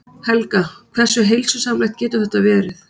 Helga: Hversu heilsusamlegt getur þetta verið?